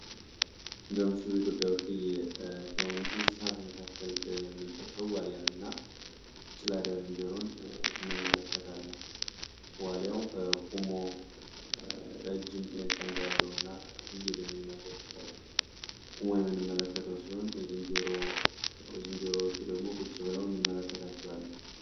በምስሉ ኢትዮጵያ ብርቅዬ ከሁኑት እንስ ሰዓት መካከል የምንጠትሰው ዋሊያን እና ጭላዲያ ዝንጀሮን እንመለከታለ። ዋሊያው ቁሞ ረጅም ቀንድ ያለው እና ፍይል የሚመስል ቁሞ ይምንመለከተው ሲሆን ዝንጀሮዎቹ ደግሞ ቁጭ በለው ንመለከታቸዋለን።